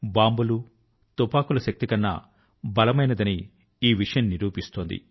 బాంబులు తుపాకుల శక్తి కన్నా బలమైనదని ఈ విషయం నిరూపిస్తుంది